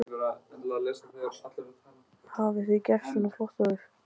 Hafi þið gert svona flott áður?